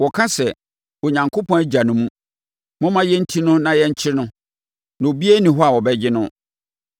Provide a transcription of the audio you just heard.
Wɔka sɛ, “Onyankopɔn agya no mu; momma yɛnti no na yɛnkyere no, na obiara nni hɔ a ɔbɛgye no.”